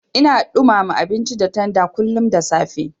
Ina ɗumama abinci da tanda kullun da safe.